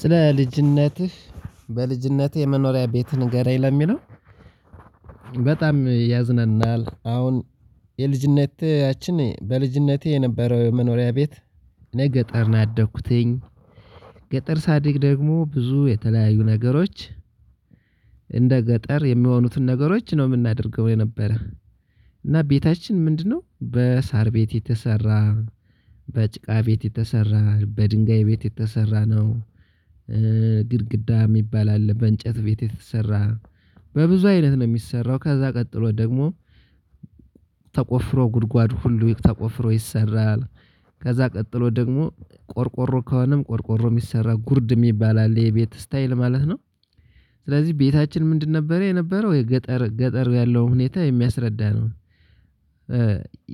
ስለ ልጅነትህ በልጅነትህ የመኖሪያ ቤት ንገረኝ ለሚለው ያዝነናል አሁን የልጅነተችን በልጅነቴ የነበረው መኖሪያ ቤት እኔ ገጠር ነው ያደኩትኝ። ገጠር ሰድግ ደግሞ ብዙ የተለያዩ ነገሮች እንደ ገጠር የሚሆኑትን ነገሮች ነው ምናደርገው የነበረ እና ቤታችን ምንድነው በሳር ቤት የተሰራ በጭቃ ቤት የተሰራ በድንጋይ ቤት የተሰራ ነው። ግድግዳ የሚባል አለ በእንጨት ቤት የተሰራ። በብዙ አይነት ነው የሚሰራው ከዛ ቀጥሎ ደግሞ ተቆፍሮ ጉድጓድ ሁሉ ተቆፍሮ ይሰራል። ከዛ ቀጥሎ ደግሞ ቆርቆሮ ከሆነም ቆርቆሮ ሚሰራ ጉርድ የሚባል አለ የቤት ስታይል ማለት ነው። ስለዚህ ቤታችን ምንድን ነበር የነበረው የገጠር ገጠር ያለው ሁኔታ የሚያስረዳ ነው።